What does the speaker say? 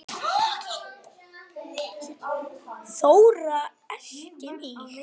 Þóra elti mig.